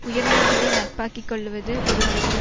உயர்ந்தோர்களை நட்பாக்கி கொள்ளுவது ஒருவனுக்கு